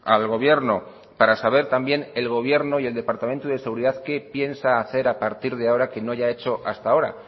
al gobierno para saber también el gobierno y el departamento de seguridad qué piensa hacer a partir de ahora que no haya hecho hasta ahora